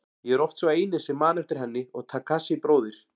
Ég er oft sá eini sem man eftir henni og Takashi bróðir.